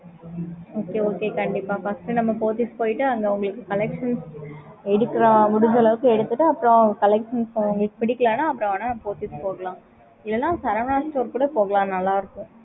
okay okay கண்டிப்பா நம்ம Pothys போயிட்டு